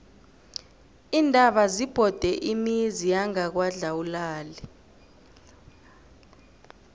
iintaba zibhode imizi yangakwadlawulale